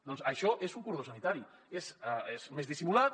doncs això és un cordó sanitari és més dissimulat